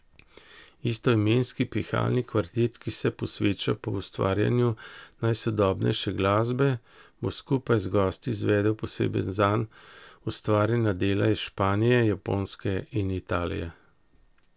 Istoimenski pihalni kvintet, ki se posveča poustvarjanju najsodobnejše glasbe, bo skupaj z gosti izvedel posebej zanj ustvarjena dela iz Španije, Japonske in Italije.